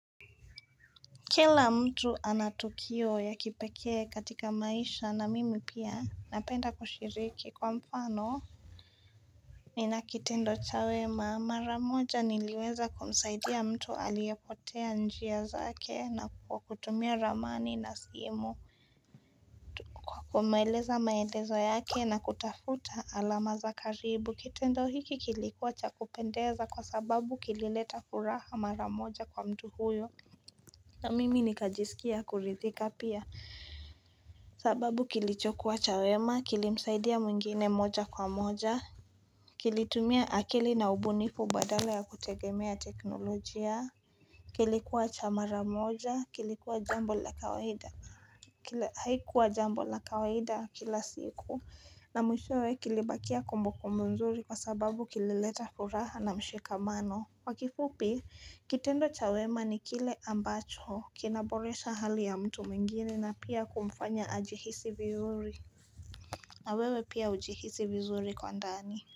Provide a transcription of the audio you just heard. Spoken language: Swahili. Kila mtu anatukio ya kipekee katika maisha na mimi pia napenda kushiriki kwa mfano. Nina kitendo cha wema maramoja niliweza kumsaidia mtu aliyepotea njia zake na kwa kutumia ramani na simu. Kumaeleza maelezo yake na kutafuta alama za karibu kitendo hiki kilikuwa cha kupendeza kwa sababu kilileta kuraha maramoja kwa mtu huyo. Na mimi nikajisikia kuridhika pia. Sababu kilicho kuwa chawema, kilimsaidia mwingine moja kwa moja Kilitumia akili na ubunifu badala ya kutegemea teknolojia kilikuwa chamara moja, kilikuwa jambo la kawaida Haikuwa jambo la kawaida kila siku na mwishoe kilibakia kumbukumbu mzuri kwa sababu kilileta furaha na mshika mano kwakifupi, kitendo chawema ni kile ambacho, kinaboresha hali ya mtu mwingine na pia kumfanya ajihisi vizuri, na wewe pia ujihisi vizuri kwa ndani.